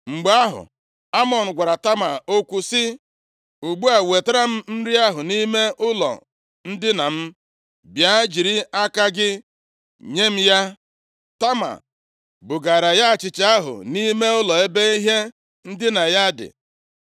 Mgbe ahụ, Amnọn gwara Tama okwu sị, “Ugbu a, wetara m nri ahụ nʼime ụlọ ndina m, bịa jiri aka gị nye m ya.” Tama bugaara ya achịcha ahụ nʼime ụlọ ebe ihe ndina ya dị.